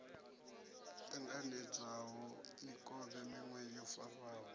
ṱanganedzwaho mikovhe miṅwe yo farwaho